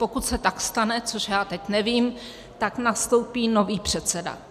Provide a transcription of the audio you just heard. Pokud se tak stane, což já teď nevím, tak nastoupí nový předseda.